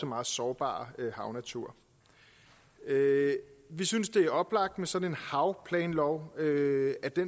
meget sårbare havnatur vi synes det er oplagt at en sådan havplanlov